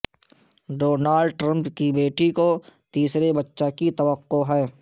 Donald Trump کی بیٹی کو تیسرے بچہ کی توقع ہے